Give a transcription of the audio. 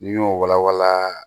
N'i y'o wala wala